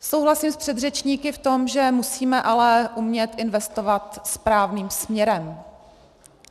Souhlasím s předřečníky v tom, že musíme ale umět investovat správným směrem.